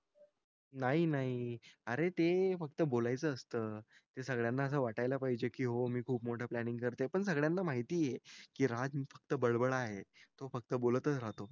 नाही नाही अरे ते फक्त बोलायचं असत सगड्याना असं वाटायला पाहिजे के हो मी खूप मोठं प्लॅनिंग करत आहे पण सगड्याना माहीती आहे राज फक्त बडबडा आहे तो फक्त बोलतच राहतो